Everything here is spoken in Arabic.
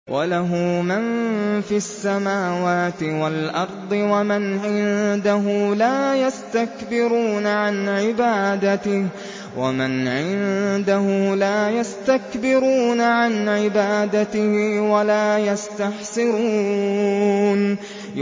وَلَهُ مَن فِي السَّمَاوَاتِ وَالْأَرْضِ ۚ وَمَنْ عِندَهُ لَا يَسْتَكْبِرُونَ عَنْ عِبَادَتِهِ وَلَا يَسْتَحْسِرُونَ